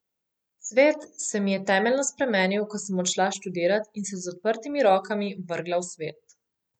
Svet se mi je temeljno spremenil, ko sem odšla študirat in se z odprtimi rokami vrgla v svet.